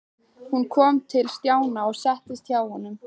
Hún kom til Stjána og settist hjá honum.